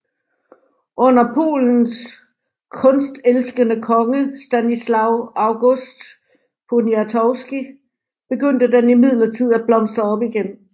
Under Polens kunstelskende konge Stanisław August Poniatowski begyndte den imidlertid at blomstre op igen